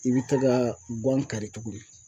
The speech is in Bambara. I bɛ ti ka guwan kari tuguni